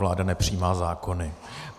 Vláda nepřijímá zákony.